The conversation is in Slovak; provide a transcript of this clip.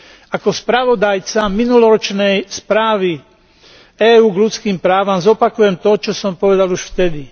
Ako spravodajca minuloročnej správy EÚ k ľudských právam zopakujem to, čo som povedal už vtedy.